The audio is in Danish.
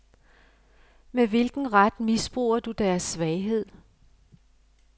Med hvilken ret misbruger du deres svaghed.